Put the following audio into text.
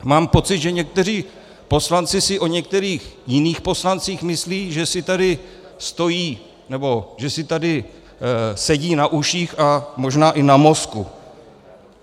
Mám pocit, že někteří poslanci si o některých jiných poslancích myslí, že si tady stojí nebo že si tady sedí na uších a možná i na mozku.